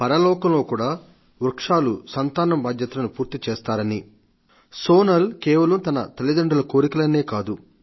పరలోకంలో కూడా వృక్షాలు సంతానం బాధ్యతలను పూర్తిచేస్తారని సోనల్ కేవలం తన తల్లిదండ్రుల కోరికలనే కాదు